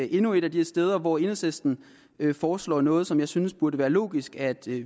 endnu et af de steder hvor enhedslisten foreslår noget som jeg synes det burde være logisk at